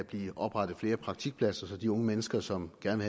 blive oprettet flere praktikpladser så de unge mennesker som gerne